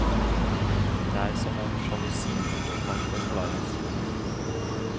Det er som om sjalusien ikke kan forklares.